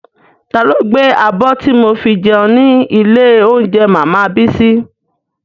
Ta ló gbé abọ́ tí mo fi jẹun ní ilé óúnjẹ màmá Bísí?